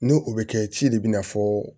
Ni o bɛ kɛ ci de bina fɔ